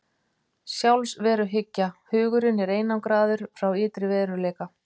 Sjálfsveruhyggja: Hugurinn er einangraður frá ytri veruleika.